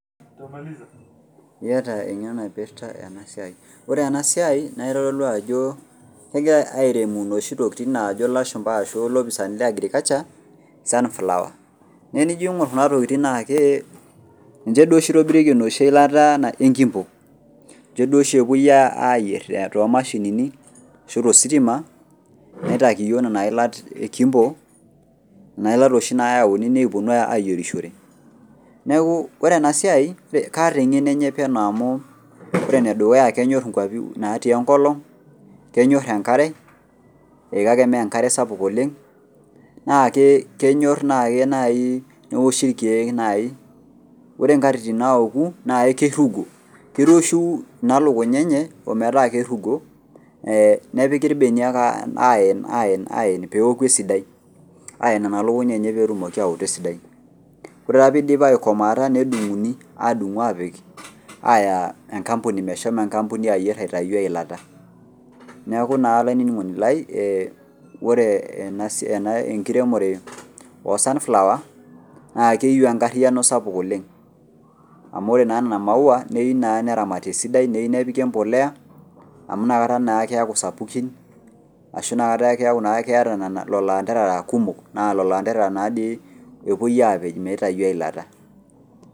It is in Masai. Eyata eng'eno naipirta ena siai ore ena siai naa kitoluu Ajo kegir airemu enoshi tokitin naajo eleashu arashu elopisanii lee agriculture sunflower naatenijo aing'or Kuna tokitin naa ninje oshi etobirikie enkimbo ninche duo oshi epuo ayier too mashinini[c]arashu tositima nitakii iyiok Nena yila ee kimbo naa keeta oshi neyauni nikupuoni ayierishore neeku ore ena siai kataa eng'eno enye penyo amu ore nedukuya naa kenyor nkwapii natii enkolog kenyor enkare kake mmee enkare sapuk oleng naa kenyor naaji neoshi irkeek naaji ore nkatitin naoku naa ekirugu kiroshiu ena lukuny enye ometaa kirugo nepeki irbenia aen peoku esidai aen Nena lukuny enye petu aoto esidai ore taata pidip aikomoata nedung'uni apik Aya enkampuni meshomo enkampuni ayier atau eyilata neeku naa olainining'oni lai ore enkiremore oo sunflower naa keyieu enkariano sapuk oleng amu ore Nena maua neyieu naa neramati esidai neyieu nepiki embolea amu enakata ake sapukin arashu enaataa eku ketaa elolon anderara kumok naa elelo anderera naadoi epuo apej mitau eyilata.